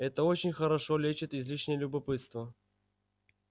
это очень хорошо лечит излишнее любопытство